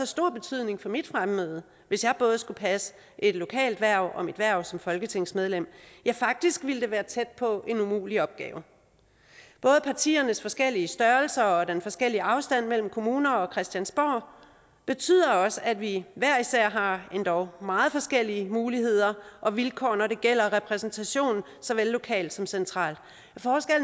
stor betydning for mit fremmøde hvis jeg både skulle passe et lokalt hverv og mit hverv som folketingsmedlem ja faktisk ville det være tæt på en umulig opgave både partiernes forskellige størrelser og den forskellige afstand mellem kommuner og christiansborg betyder også at vi hver især har endog meget forskellige muligheder og vilkår når det gælder repræsentation såvel lokalt som centralt